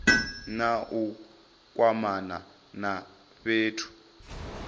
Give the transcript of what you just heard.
na u kwamana na fhethu